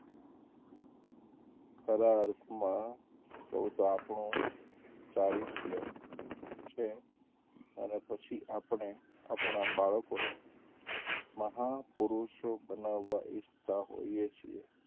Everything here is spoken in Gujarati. ખરા અર્થમાં કહું તો આપણું ચારીત્ય છે અને પછી આપણે આપણા બાળકોને મહાપુરૂષો બનાવવા ઈચ્છતાં હોઈએ છીએ.